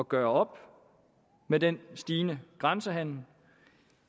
gøre op med den stigende grænsehandel